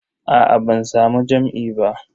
Aa ban samu jam'i ba.